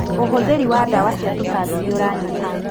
ũhũthĩri wa ndawa cia tũtambi nĩũranyiha.